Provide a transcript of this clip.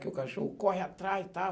Que o cachorro corre atrás e tal.